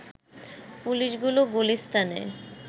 পুলিশগুলো গুলিস্তানে